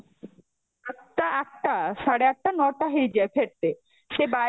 ତ ଆଠଟା, ସାଢ଼େ ଆଠଟା ନଅଟା ହେଈଯେ ଫେରତେ ସେ ବାରି